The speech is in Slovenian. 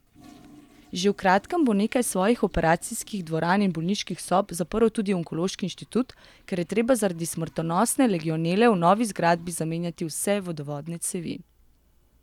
Že v kratkem bo nekaj svojih operacijskih dvoran in bolniških sob zaprl tudi onkološki inštitut, ker je treba zaradi smrtonosne legionele v novi zgradbi zamenjati vse vodovodne cevi.